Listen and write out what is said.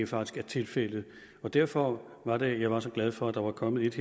faktisk er tilfældet derfor var det at jeg var så glad for at der var kommet et